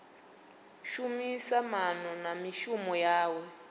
shumisa maana na mishumo yawe